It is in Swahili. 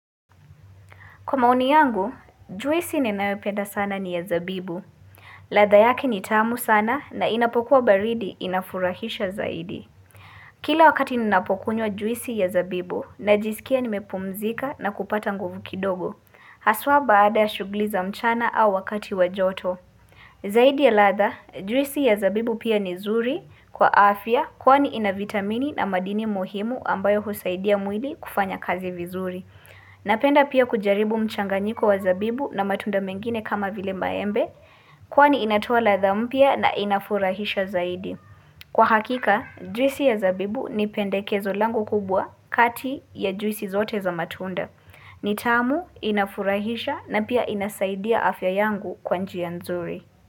Kwa maoni yangu, juisi ninayoipenda sana ni ya sabibu. Ladha yake ni tamu sana na inapokuwa baridi inafurahisha zaidi. Kila wakati ninaapokunywa juisi ya sabibu najisikia nimepumzika na kupata nguvu kidogo. Haswa baada ya shughuli za mjana au wakati wa joto. Zaidi ya ladha, juisi ya sabibu pia ni nzuri kwa afya kwani ina vitamini na madini muhimu ambayo husaidia mwili kufanya kazi vizuri. Napenda pia kujaribu mchanganyiko wa sabibu na matunda mengine kama vile maembe Kwani inatoa ladha mpya na inafurahisha zaidi Kwa hakika, juisi ya sabibu ni pendekezo langu kubwa kati ya juisi zote za matunda ni tamu, inafurahisha na pia inasaidia afya yangu kwa njia nzuri.